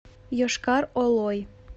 йошкар олой